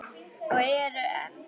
Og eru enn.